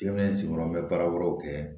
Jamana sigiyɔrɔ bɛ baara wɛrɛw kɛ